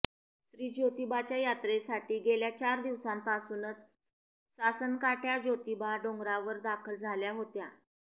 श्री जोतिबाच्या यात्रेसाठी गेल्या चार दिवसापासूनच सासनकाठय़ा जोतिबा डोंगरावर दाखल झाल्या होत्या